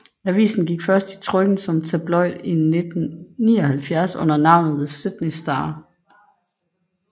Avisen gik først i trykken som tabloid i 1979 under navnet The Sydney Star